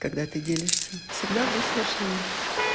когда ты делишься всегда выслушаем